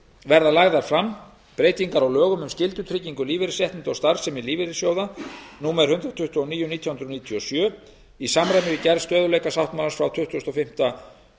verða lagðar fram breytingar á lögum um skyldutryggingu lífeyrisréttinda og starfsemi lífeyrissjóða númer hundrað tuttugu og níu nítján hundruð níutíu og sjö í samræmi við gerð stöðugleikasáttmálans frá tuttugasta og fimmta